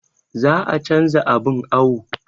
Za a canza abun awon